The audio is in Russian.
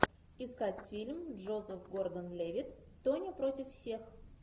искать фильм джозеф гордон левитт тоня против всех